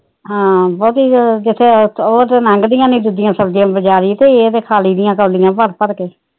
ਹਾ ਬਹੁਤੀ ਉਹ ਤੇ ਲੰਘਦੀਆਂ ਨੀ ਦੂਜੀਆਂ ਸਬਜੀਆਂ ਬਜਾਰੀ ਤੇ ਇਹ ਤੇ ਖਾ ਲਈ ਦੀਆਂ ਕੋਲੀਆਂ ਭਰ ਭਰ ਕੇ